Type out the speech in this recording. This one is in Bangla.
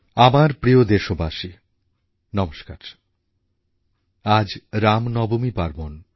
আমার প্রিয় দেশবাসী নমস্কার আজ রামনবমী পার্বণ